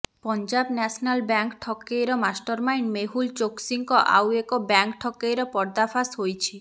Punjab national bank ଠକେଇର mastermind Mehul ଚୋକସିଙ୍କ ଆଉ ଏକ ବ୍ୟାଙ୍କ୍ ଠକେଇର ପର୍ଦ୍ଦାଫାଶ ହୋଇଛି